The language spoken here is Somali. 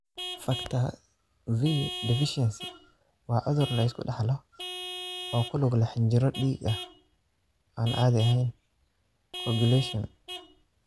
Factor V deficiency waa cudur la iska dhaxlo oo ku lug leh xinjiro dhiig oo aan caadi ahayn (coagulation).